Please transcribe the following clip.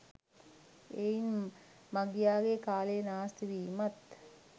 එයින් මගියාගේ කාලය නාස්තිවීමත්